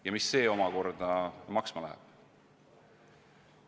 Ja mis see omakorda maksma läheb?